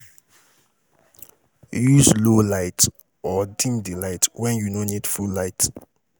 Use low light or dim di light when you no need full light